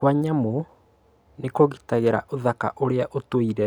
Kwa nyamũ nĩ kũgitagĩra ũthaka ũrĩa ũtũire